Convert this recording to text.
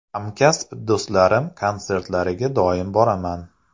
Hamkasb do‘stlarim konsertlariga doim boraman.